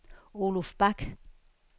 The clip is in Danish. Oluf Bak